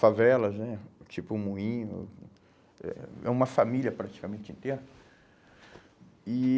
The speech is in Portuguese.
Favelas né, tipo o Moinho, é é uma família praticamente inteira. E